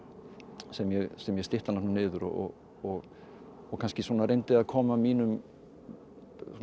sem ég sem ég stytti hana niður og og kannski reyndi að koma mínum